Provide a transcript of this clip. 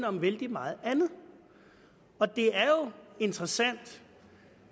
om vældig meget andet det er jo interessant